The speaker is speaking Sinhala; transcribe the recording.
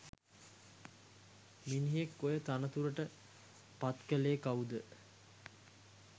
මිනිහෙක් ඔය තනතුරට පත්කලේ කව්ද?